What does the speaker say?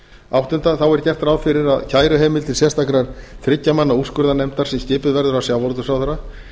áttunda þá er gert ráð fyrir kæruheimild til sérstakrar þriggja manna úrskurðarnefndar sem skipuð verður af sjávarútvegsráðherra